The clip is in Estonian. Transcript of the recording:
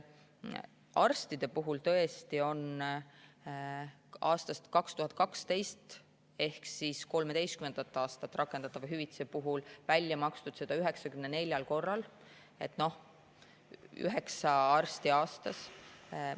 Arstidele on, tõesti, aastast 2012 rakendatavat hüvitist makstud välja 94 korral, üheksale arstile aastas.